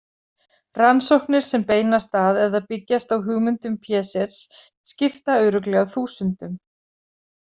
Rannsóknir sem beinast að eða byggjast á hugmyndum Piagets skipta örugglega þúsundum.